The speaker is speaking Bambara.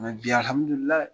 bi alhamdulilai